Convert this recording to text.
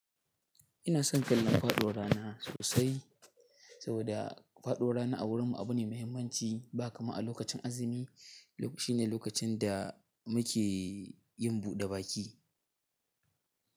Ina son kallon faɗuwar rana sosai. Saboda faɗuwar rana a wurinmu abu ne mai muhimmanci ba kamar a lokacin azumi. Shine lokacin da muke yin buɗe baki.